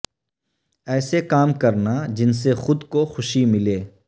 ایسے کام کرنا جن سے خود کو خوشی ملے